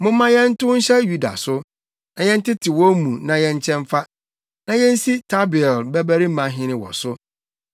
“Momma yɛntow nhyɛ Yuda so, na yɛntetew wɔn mu na yɛnkyɛ mfa, na yensi Tabeel babarima hene wɔ so.”